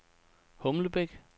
Humlebæk